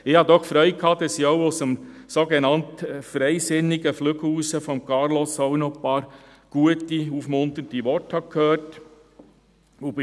Ich hatte Freude daran, dass ich auch aus dem sogenannt «freisinnigen» Flügel von Carlos Reinhard ein paar gute, aufmunternde Worte gehört habe.